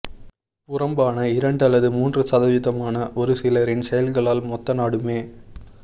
புறம்பான இரண்டு அல்லது மூன்று சதவிதமான ஒரு சிலரின் செயல்களால் மொத்த நாடுமே